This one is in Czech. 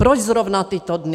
Proč zrovna tyto dny?